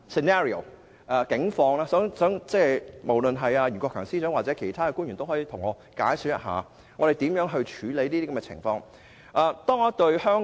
我要提出數個不同的情景，希望袁國強司長或其他官員可以解說一下會如何處理這些情況。